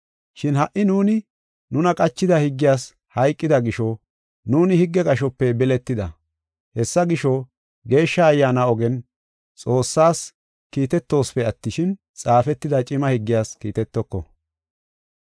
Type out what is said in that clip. Shin ha77i nuuni nuna qachida higgiyas hayqida gisho nuuni higge qashope biletida. Hessa gisho, Geeshsha Ayyaana ogen Xoossaas kiitetosipe attishin, xaafetida cima higgiyas kiitetoko.